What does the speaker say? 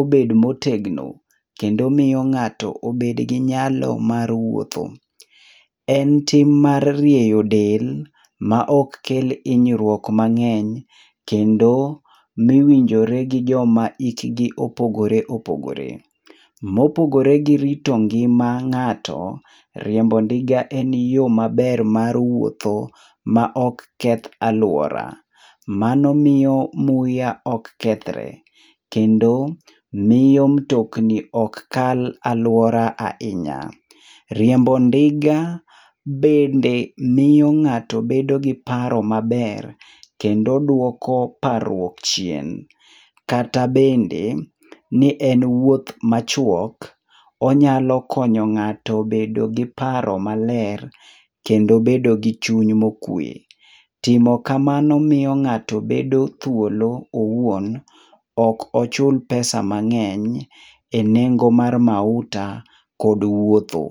obed motegno, kendo miyo ng'ato obed gi nyalo mar wuotho. En tim mar rieyo del, ma ok kel hinyruok mang'eny, kendo mowinjore gi joma hikgi opogore opogore. Mopogore gi rito ngima ng'ato, riembo ndiga en yo maber mar wuotho ma ok keth aluora. Mano miyo muya ok kethre, kendo miyo mutokni ok kal aluora ahinya. Riembo ndiga bende miyo ng'ato bedo gi paro maber kendo duoko parruok chien. Kata bende ni en wuoth machuok, onyalo konyo ng'ato bedo gi paro maler, kendo bedo gi chuny mokwe. Timo kamano miyo ng'ato bedo thuolo owuon, ok ochul pesa mang'eny enengo mar mauta, kod wuotho.